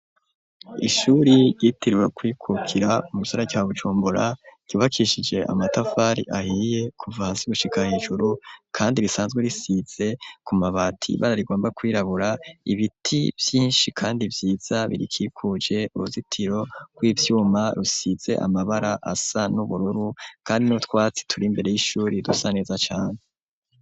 Ishuri ryitiriwe kwikukira umusara ca gucumbura ryubakishije amatafari ahiye kuva hasi gushika hejuru, kandi risanzwe risize ku mabati bara rigomba kwirabura ibiti vyinshi, kandi vyiza birikikuje uruzitiro ro'ivyuma rusize amabara asa n'ubururu, kandi nutwatsi turi imbere y'ishuri yidusa neza cane.